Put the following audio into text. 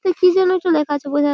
এ কি জানো একটা লেখা আছে বোঝা --